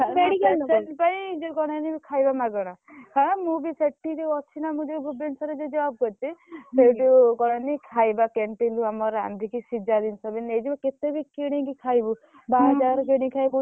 Patient ପାଇଁ ଯୋଉ କଣ ଏମିତି ଖାଇବା ମାଗଣା ହଁ ମୁଁ ବି ସେଠି ଯୋଉ ଅଛି ନା ମୁଁ ଯୋଉ ଭୁବନେଶ୍ବର ରେ ଯୋଉ job କରୁଛିbr ସେଇଠୁ କଣ ଏମତି ଖାଇବା canteen ରୁ ଆମର ରାନ୍ଧିକି ସିଝା ଜିନିଷ ବି ନେଇଯିବୁ କେତେବି କିଣିକି ଖାଇବୁ ବାହାର ଜାଗାରୁ କିଣିକି ଖାଇବୁ ବହୁତ